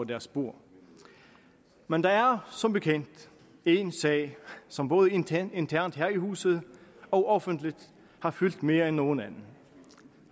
deres bord men der er som bekendt en sag som både internt internt her i huset og offentligt har fyldt mere end nogen anden